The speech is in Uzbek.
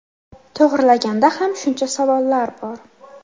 To‘g‘rilaganda ham shuncha savollar bor.